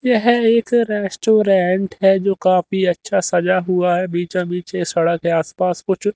यह एक रेस्टोरेंट है जो काफी अच्छा सजा हुआ है बीचों बीचे सड़क के आसपास कुछ--